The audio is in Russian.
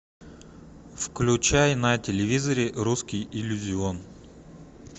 включай на телевизоре русский иллюзион